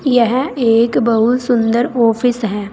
यह एक बहुत सुंदर ऑफिस है।